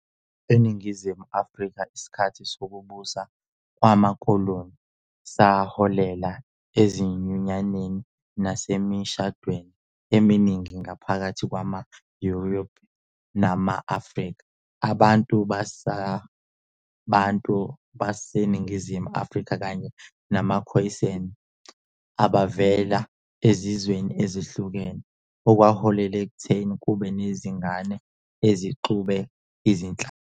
ENingizimu Afrika, isikhathi sokubusa kwamakoloni saholela ezinyunyaneni nasemishadweni eminingi phakathi kwama-Europe nama-Afrika, abantu baseBantu baseNingizimu Afrika kanye namaKhoisan, abavela ezizweni ezihlukahlukene, okwaholela ekutheni kube nezingane ezixube izinhlanga.